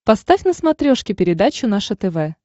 поставь на смотрешке передачу наше тв